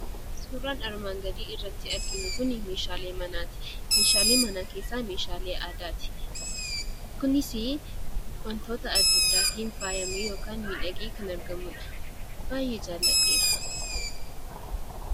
Suuraan asiin gaditti argamu kun meeshaalee manaati. Meeshaalee manaa keessaa immoo meeshaalee aadaati. Kunis wantoota addaa addaatiin miidhagee yookiin immoo faayyamee kan argamuu dha. Meeshaa miidhaginaa kana baayyee jaalladheera.